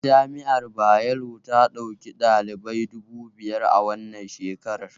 Jami'ar Bayero ta ɗauki ɗalibai dubu biyar a wannan shekarar